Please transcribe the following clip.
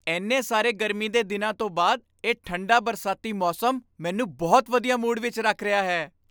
ਇੰਨੇ ਸਾਰੇ ਗਰਮੀ ਦੇ ਦਿਨਾਂ ਤੋਂ ਬਾਅਦ, ਇਹ ਠੰਡਾ ਬਰਸਾਤੀ ਮੌਸਮ ਮੈਨੂੰ ਬਹੁਤ ਵਧੀਆ ਮੂਡ ਵਿੱਚ ਰੱਖ ਰਿਹਾ ਹੈ।